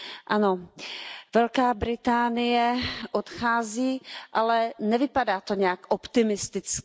Ano, Velká Británie odchází, ale nevypadá to nějak optimisticky.